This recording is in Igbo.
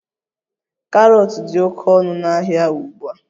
Karọt dị oke ọnụ n'ahịa ugbu a